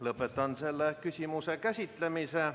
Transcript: Lõpetan selle küsimuse käsitlemise.